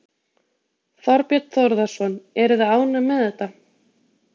Þorbjörn Þórðarson: Eruð þið ánægð með þetta?